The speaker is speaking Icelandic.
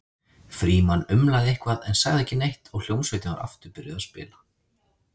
Frímann umlaði eitthvað en sagði ekki neitt og hljómsveitin var aftur byrjuð að spila.